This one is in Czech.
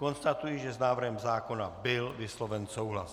Konstatuji, že s návrhem zákona byl vysloven souhlas.